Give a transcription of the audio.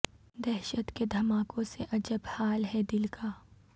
دہشت کے دھماکوں سے عجب حال ہے دل کا